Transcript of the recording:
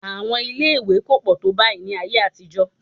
Àwọn ilé-ìwé kò pọ̀ tó báyìí ní ayé àtijọ́